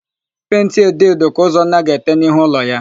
Penti edo edo ka Ụzọnna ga-ete n'ihu ụlọ ya.